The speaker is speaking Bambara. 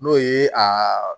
N'o ye a